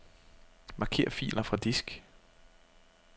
Marker filer fra disk.